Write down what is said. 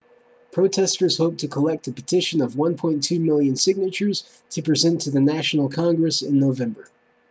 protesters hope to collect a petition of 1.2 million signatures to present to the national congress in november